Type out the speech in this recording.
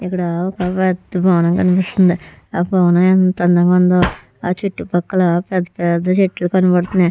ఇక్కడ ఒక పెద్ద భవనం కనిపిస్తుంది. ఆ భవనం ఎంత అందంగా ఉందో. ఆ చుట్టుపక్కల పెద్ద పెద్ద చెట్లు కనపడుతున్నాయి.